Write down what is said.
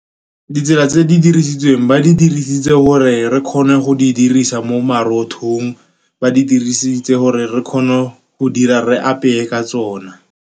Ditsela tse di dirisitsweng, ba di dirisitse gore re kgone go di dirisa mo marothong. Ba di dirisitse gore re kgone go dira, re apeye ka tsona.